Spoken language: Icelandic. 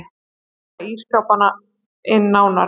Kanna ísskápinn nánar.